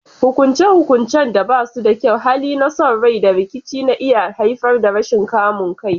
Hukunce-hukuncen da ba su da kyau, hali na son rai, da rikici na iya haifar da rashin kamun kai.